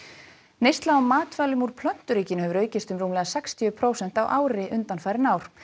neysla á matvælum úr plönturíkinu hefur aukist um rúmlega sextíu prósent á ári undanfarin ár